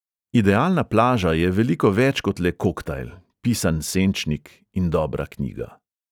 Idealna plaža je veliko več kot le koktajl, pisan senčnik in dobra knjiga.